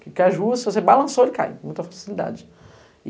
Caju se você balançou, ele caia, com muita facilidade.